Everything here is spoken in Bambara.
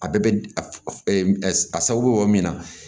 A bɛɛ bɛ a sababu bɛ yɔrɔ min na